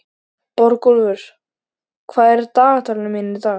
Borgúlfur, hvað er í dagatalinu mínu í dag?